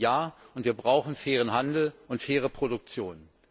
Ja, wir brauchen fairen Handel und faire Produktion.